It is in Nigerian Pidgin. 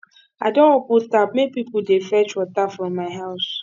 i don open tap make pipo dey fetch water from my house